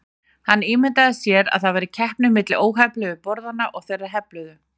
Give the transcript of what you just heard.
Hann ímyndaði sér að það væri keppni milli óhefluðu borðanna og þeirra hefluðu.